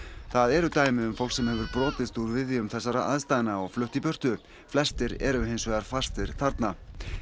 það eru dæmi um fólk sem hefur brotist úr viðjum þessara aðstæðna og flutt í burtu flestir eru hins vegar fastir þarna